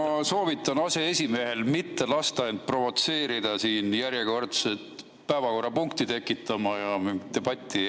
Ma soovitan aseesimehel mitte lasta end provotseerida järjekordset päevakorrapunkti tekitama ja debatti edasi pidama.